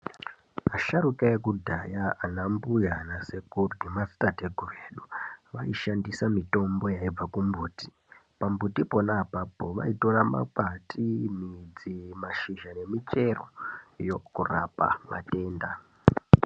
Asharukwa ekudhaya ana mbuya ana sekuru nemadzitateguru edu vaishandisa mitombo yaibva kumbuti. Pambuti pona apapo vaitora makwati, midzi, mashizha nemichero kurapa madenda.